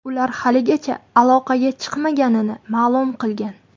Ular haligacha aloqaga chiqmaganini ma’lum qilgan.